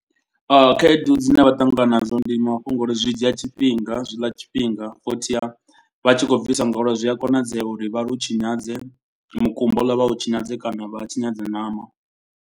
Khaedu dzine vha ṱangana nazwo ndi mafhungo uri zwi dzhia tshifhinga zwi ḽa tshifhinga. Futhi vha tshi khou bvisa ngauri zwi a konadzea uri vha lu tshinyadze mukumba hule vha hu tshinyadze kana vha tshinyadze ṋama.